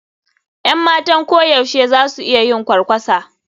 Yan matan koyaushe za su iya yin kwarkwasa.